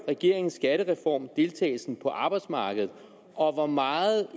regeringens skattereform deltagelsen på arbejdsmarkedet og hvor meget